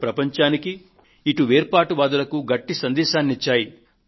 అటు ప్రపంచానికీ ఇటు వేర్పాటువాదులకు గట్టి సందేశాన్ని ఇచ్చాయి